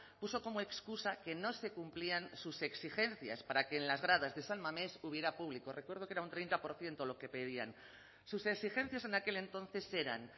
puso como excusa que no se cumplían sus exigencias para que en las gradas de san mamés hubiera público recuerdo que era un treinta por ciento lo que pedían sus exigencias en aquel entonces eran